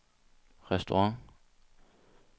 restaurant